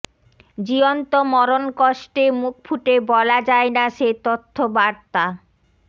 জীয়ন্ত মরণকষ্টে মুখ ফুটে বলা যায় না সে তথ্য বারতা